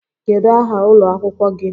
Kedu aha ụlọ akwụkwọ gị?